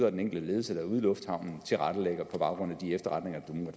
og den enkelte ledelse ude i lufthavnen tilrettelægger på baggrund af de efterretninger